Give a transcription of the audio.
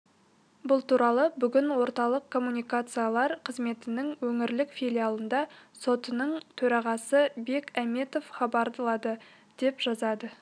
бұл туралы бүгін орталық коммуникациялар қызметінің өңірлік филиалында сотының төрағасы бек әметов хабарлады деп жазады